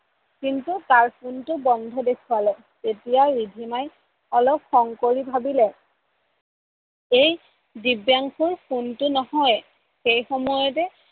কিন্তু তাৰ phone টো বন্ধ দেখোৱালে। এতিয়া ৰিধিমাই অলপ খ্ং কৰি ভাবিলে, এই দিব্যাংসুৰ phone টো নহয়, তেনেকোৱাতে